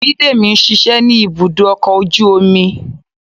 bidemi ń ṣiṣẹ ni ibudo ọkọ ojú omí.